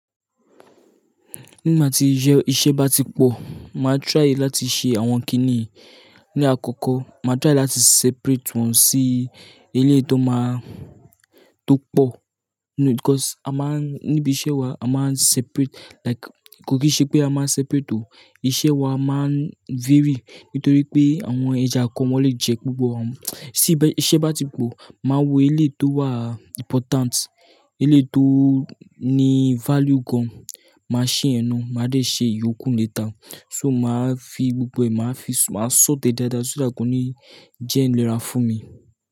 Nígbà tí iṣẹ́ bá ti pọ̀, màá try láti ṣe àwọn kí nì. Ni àkọ́kọ́, màá try láti separate wọn sí eléyìí tó máa-- tó pọ̀. Because a máa ń-- níbi iṣẹ́ wa a máa ń separate like kò kì í ṣe pé a máa ń separate o. Iṣẹ́ wa a máa ń vary nítorí pé àwọn ẹja kan wọ́n lè jẹ gbogbo wọn. Síí bẹ́ iṣẹ́ bá ti pọ̀, màá wo eléyìí tó wà important, eléyìí tó ní value gan. Màá ṣe yẹn na, màá dé ṣe ìyókù later. So màá fi gbogbo ẹ̀, màá fi sort e dáadáa so that kò ní jẹ́ ẹ́ ailera fún mi.